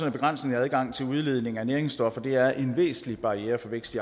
at begrænsningen af adgangen til udledning af næringsstoffer er en væsentlig barriere for vækst